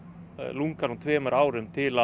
lungann úr tveimur árum til